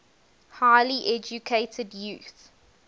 highly educated youth